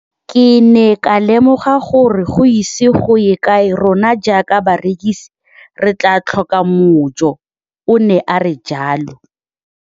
Ke ne ka lemoga gore go ise go ye kae rona jaaka barekise re tla tlhoka mojo, o ne a re jalo.